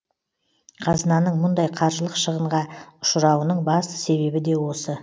қазынаның мұндай қаржылық шығынға ұшырауының басты себебі де осы